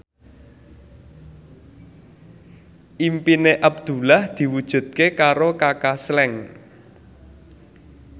impine Abdullah diwujudke karo Kaka Slank